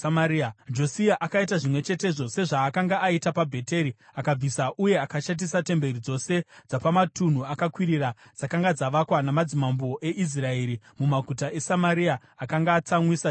Josia akaita zvimwe chetezvo sezvaakanga aita paBheteri akabvisa uye akashatisa temberi dzose dzapamatunhu akakwirira dzakanga dzavakwa namadzimambo eIsraeri mumaguta eSamaria, akanga atsamwisa Jehovha,